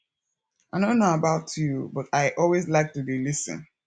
i no know about you but i always like to dey lis ten